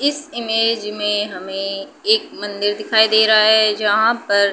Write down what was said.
इस इमेज में हमें एक मंदिर दिखाई दे रहा है जहां पर --